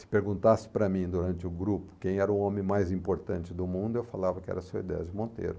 Se perguntasse para mim durante o grupo quem era o homem mais importante do mundo, eu falava que era o seu Edésio Monteiro.